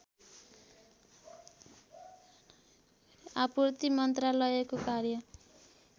आपूर्ति मन्त्रालयको कार्य